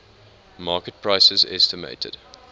market prices estimated